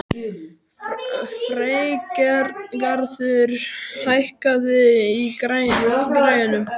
Freygarður, hækkaðu í græjunum.